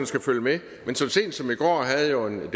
skal følge med men så sent som i går havde jeg en